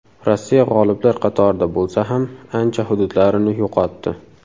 Rossiya g‘oliblar qatorida bo‘lsa ham, ancha hududlarini yo‘qotdi.